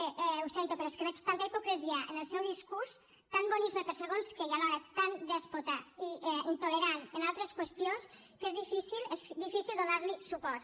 bé ho sento però és que veig tanta hipocresia en el seu discurs tant bonisme per a segons què i alhora tan dèspota i intolerant en altres qüestions que és difícil donar li suport